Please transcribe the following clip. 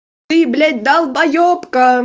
ты блять долбаебка